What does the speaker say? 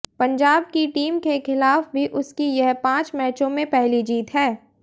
पंजाब की टीम के खिलाफ भी उसकी यह पांच मैचों में पहली जीत है